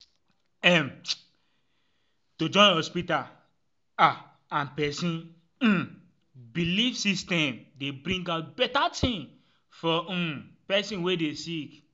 em- to join hospita ah and pesin um belief system dey bring out beta tin for um pesin wey dey sick